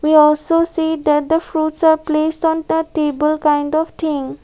here also see that the fruits are placed on the table kind of thing.